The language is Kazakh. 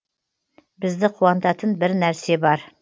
бізді қуантатын бір нәрсе бар